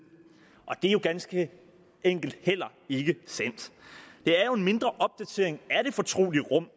og det er jo ganske enkelt heller ikke sandt det er jo en mindre opdatering af det fortrolige rum